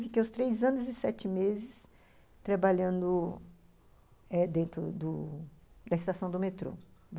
Fiquei os três anos e sete meses trabalhando eh dentro do da estação do metrô.